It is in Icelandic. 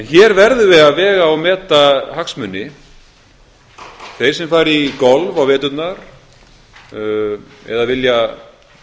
verðum við að vega og meta hagsmuni þeir sem fara í golf á veturna eða vilja